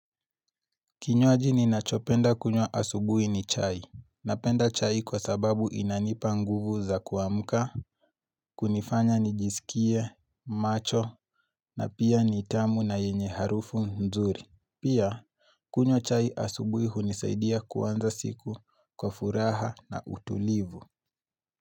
Kinywaji ninachopenda kunywa asubui ni chai. Napenda chai kwa sababu inanipa nguvu za kuamka, kunifanya nijisikie, macho, na pia nitamu na yenye harufu nzuri. Pia, kunywa chai asubui hunisaidia kuanza siku kwa furaha na utulivu.